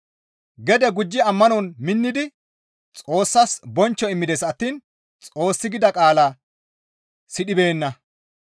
Gede gujjidi ammanon minnidi Xoossas bonchcho immides attiin Xoossi gida qaalaa sidhibeenna.